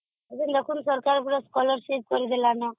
ଏବେ ପୁଣି ସରକାର scolarship ସବୁ କରି ଦେଲାଣି ହଁ